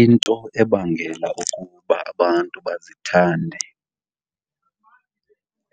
Into ebangela ukuba abantu bazithande